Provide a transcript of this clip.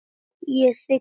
Ég þigg boðið.